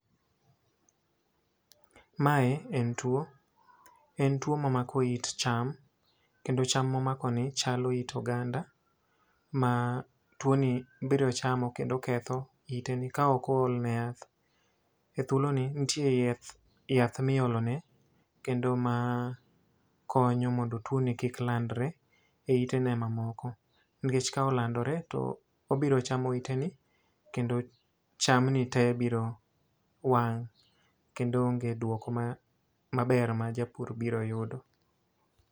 Mae en two, en two mamako it cham. Kendo cham ma omakoni chalo it oganda, ma two ni biro chamo kendo ketho iteni ka ok ool ne yath. E thuoloni nitie yath, yath ma iolone, kendo makonyo mondo two ni kik landore e itene ma moko. Nikech ka olandore, to obiro chamo iteni, kendo chamni te biro wang' kendo onge duoko ma, maber ma japur biro yudo.